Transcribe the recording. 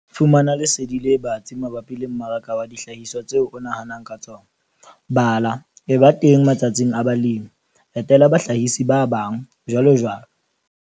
Fumana lesedi le batsi mabapi le mmaraka wa dihlahiswa tseo o nahanang ka tsona. Bala, eba teng matsatsing a balemi, etela bahlahisi ba bang, jwalojwalo.